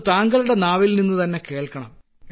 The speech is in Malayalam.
അത് താങ്കളുടെ നാവിൽനിന്നുതന്നെ കേൾക്കണം